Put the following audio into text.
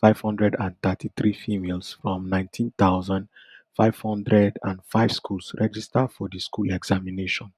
five hundred and thirty-three females from nineteen thousand, five hundred and five schools register for di school examination